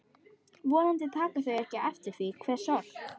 Vonandi taka þau ekki eftir því hve sorg